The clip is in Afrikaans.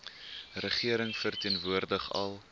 regering verteenwoordig al